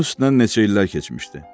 Bunun üstündən neçə illər keçmişdi.